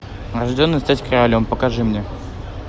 рожденный стать королем покажи мне